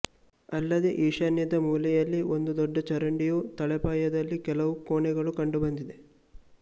ಅಲ್ಲದೆ ಈಶಾನ್ಯದ ಮೂಲೆಯಲ್ಲಿ ಒಂದು ದೊಡ್ಡ ಚರಂಡಿಯೂ ತಳಪಾಯದಲ್ಲಿ ಕೆಲವು ಕೋಣೆಗಳೂ ಕಂಡುಬಂದಿದೆ